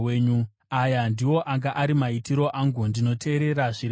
Aya ndiwo anga ari maitiro angu: Ndinoteerera zvirevo zvenyu.